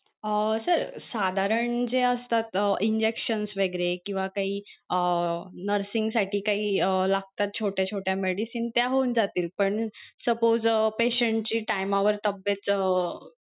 अं sir साधारण जे असतात injection वैगेरे किंवा काही अं nursing साठी काही अं लागतात छोट्या छोट्या medicines त्या होऊन जातील पण suppose अं patient ची टाईमावर तब्येत अं